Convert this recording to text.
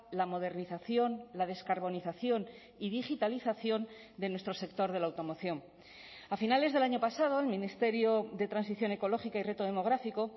la modernización la descarbonización y digitalización de nuestro sector de la automoción a finales del año pasado el ministerio de transición ecológica y reto demográfico